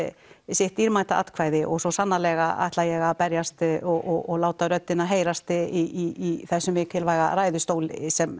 sitt dýrmæta atvkæði og svo sannarlega ætla ég að berjast og láta röddina heyrast í þessum mikilvæga ræðustóli sem